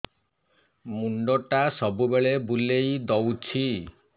ମୁଣ୍ଡଟା ସବୁବେଳେ ବୁଲେଇ ଦଉଛି